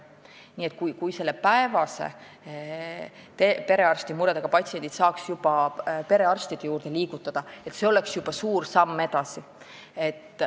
Nii et kui selle päevase murega patsiendi saaks perearsti juurde liigutada, siis see oleks juba suur samm edasi.